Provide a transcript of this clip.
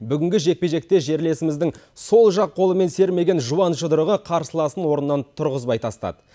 бүгінгі жекпе жекте жерлесіміздің сол жақ қолымен сермеген жуан жұдырығы қарсыласынан орнынан тұрғызбай тастады